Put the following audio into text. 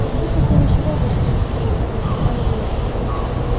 как будто это не серёга сидел на краю крыши а илья